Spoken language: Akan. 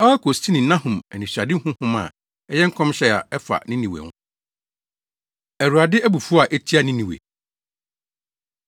Elkosini Nahum anisoadehu nhoma a ɛyɛ nkɔmhyɛ a ɛfa Ninewe ho. Awurade Abufuw A Etia Ninewe